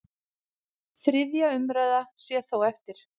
Þriðja umræða sé þó eftir.